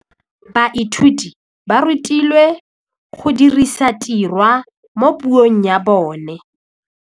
Baithuti ba rutilwe go dirisa tirwa mo puong ya bone.